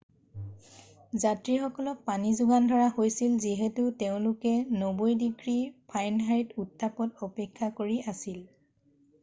যাত্ৰীসকলক পানী যোগান ধৰা হৈছিল যিহেতু তেওঁলোকে 90 ডিগ্ৰী ফাৰেনহাইট উত্তাপত অপেক্ষা কৰি আছিল